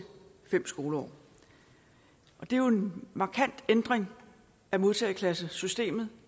fem skoleår det er jo en markant ændring af modtageklassesystemet